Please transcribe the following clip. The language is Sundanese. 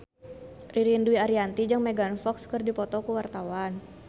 Ririn Dwi Ariyanti jeung Megan Fox keur dipoto ku wartawan